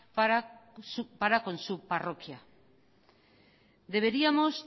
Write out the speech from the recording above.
para con su parroquia deberíamos